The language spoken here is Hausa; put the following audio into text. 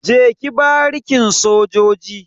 Je ki barikin sojoji.